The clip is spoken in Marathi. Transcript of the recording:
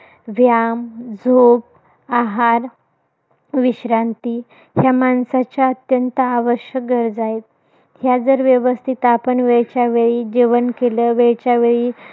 व्याम, झोप आहार, विश्रांती या माणसाच्या अत्यंत आवश्यक गरजा आहेत. ह्या जर व्यवस्थित आपण वेळच्यावेळी जेवण केलं. वेळच्यावेळी,